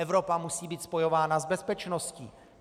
Evropa musí být spojována s bezpečností.